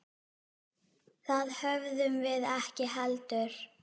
Það höfðum við ekki heldur.